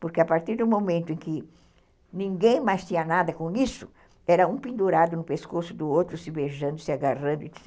Porque a partir do momento em que ninguém mais tinha nada com isso, era um pendurado no pescoço do outro, se beijando, se agarrando, etc.